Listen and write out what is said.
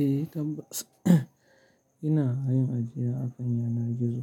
Eh tabbas, ina yin ajiya akan yanar gizo.